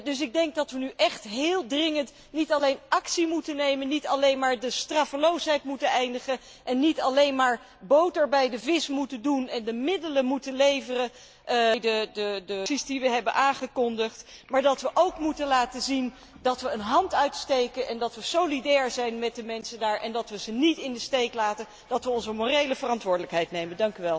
Dus ik denk dat we nu echt heel dringend niet alleen actie moeten ondernemen, niet alleen maar de straffeloosheid moeten eindigen en niet alleen maar boter bij de vis moeten doen en de middelen moeten leveren bij de acties die we hebben aangekondigd, maar dat we ook moeten laten zien dat we een hand uitsteken en dat we solidair zijn met de mensen daar en dat we ze niet in de steek laten, dat we onze morele verantwoordelijkheid nemen.